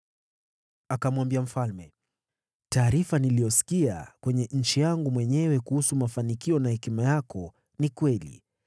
Akamwambia mfalme, “Taarifa niliyosikia kwenye nchi yangu mwenyewe kuhusu mafanikio na hekima yako ni kweli.